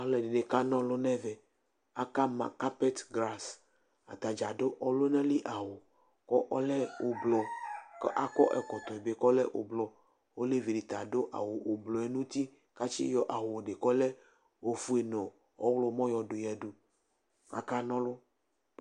alu ɛdini ka na ɔlu nu ɛvɛ, aka ma karpɛt gras , ata dza adu ɔluna li awu ku ɔlɛ ublu ku akɔ ɛkɔtɔ bi ku ɔlɛ ublu, olevi di ta adu awu ublu nu uti ku atsi yɔ awu di kɔlɛ ofue nu ɔwlɔmɔ yɔdu yadu ku aka na ɔlu